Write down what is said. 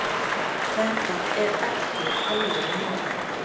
Þetta er ekki alvörumál.